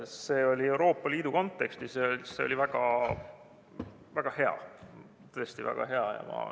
See oli Euroopa Liidu kontekstis ja see oli väga-väga hea, tõesti väga hea.